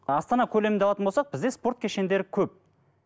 астана көлемінде алатын болсақ бізде спорт кешендері көп